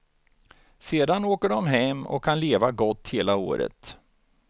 Sedan åker de hem och kan leva gott hela året.